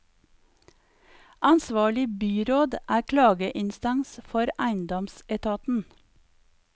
Ansvarlig byråd er klageinstans for eiendomsetaten.